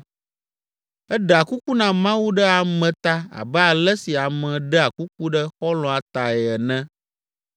Eɖea kuku na Mawu ɖe ame ta abe ale si ame ɖea kuku ɖe xɔlɔ̃a tae ene.